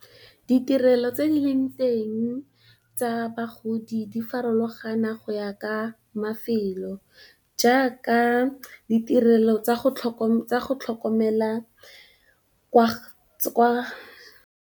Ditirelo tse di leng teng tsa bagodi di farologana go ya ka mafelo jaaka, ditirelo tsa go tlhokomela kwa .